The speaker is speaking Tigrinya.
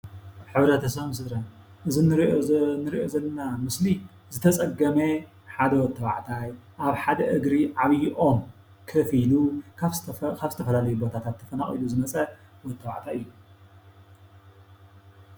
ሕብረተሰብን ስድራን እዚ እንሪኦ ዘለና ምስሊ ዝተጸገመ ሓደ ወዲ ተባዕታይ ኣብ ሓደ እግሪ ዓብይ ኦም ከፍ ኢሉ ካብ ዝተፈላለዩ ቦታታት ተፈናቂሉ ዝመፀ ወዲ ተባዕታይ እዩ።